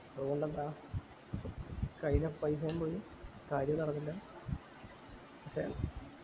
അതോണ്ടെന്താ കയ്യിലെ പൈസേം പോയി കാര്യോം നടന്നില്ല okay